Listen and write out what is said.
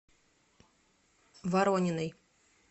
ворониной